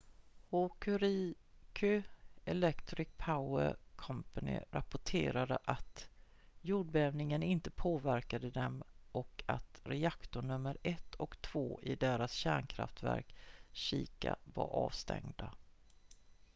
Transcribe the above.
hokuriku electric power co rapporterade att jordbävningen inte påverkat dem och att reaktor nummer 1 och 2 i deras kärnkraftverk shika var avstängda